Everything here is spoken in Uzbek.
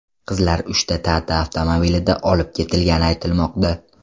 Qizlar uchta Tata avtomobilida olib ketilgani aytilmoqda.